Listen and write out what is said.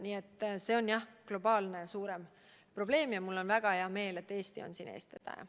Nii et see on tõesti globaalne, laiem probleem, ja mul on väga hea meel, et Eesti on selle lahendamisel eestvedaja.